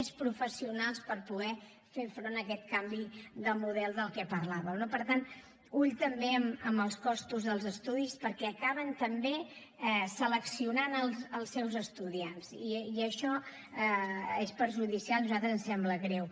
més professionals per poder fer front a aquest canvi de model del qual parlàvem no per tant compte amb els costos dels estudis perquè acaben també seleccionant els seus estudiants i això és perjudicial i a nosaltres ens sembla greu